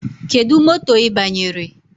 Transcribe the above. Kedụ moto ị banyere?